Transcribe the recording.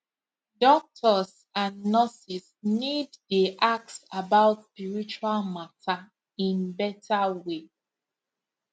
doctors and nurses need dey ask about spiritual matter in better way